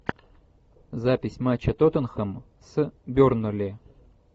запись матча тоттенхэм с бернли